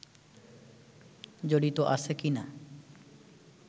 জড়িত আছে কিনা